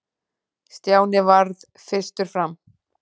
Stjáni varð fyrstur fram.